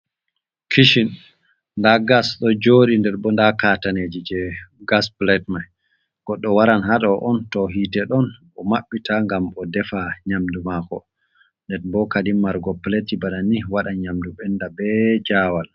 Kitchen nda gas do jori nder bo da kataneji je gas, plate mai goddo waran hado on to hite don o maɓɓita gam o defa nyamdu mako den bo Kadi marugo plate banni wadan nyamdu benda be jawal.